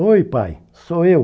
Oi pai, sou eu.